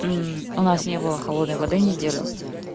у нас не было холодной воды неделю